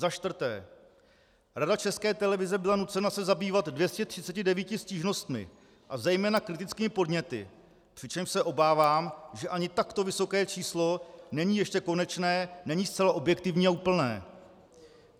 Za čtvrté, Rada České televize byla nucena se zabývat 239 stížnostmi a zejména kritickými podněty, přičemž se obávám, že ani takto vysoké číslo není ještě konečné, není zcela objektivní a úplné.